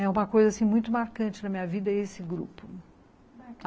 É uma coisa assim muito marcante na minha vida, esse grupo.